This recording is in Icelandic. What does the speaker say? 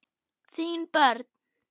Þín börn.